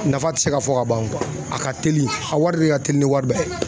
nafa tɛ se ka fɔ ka ban o a ka teli a wari de ka teli ni wari bɛɛ ye.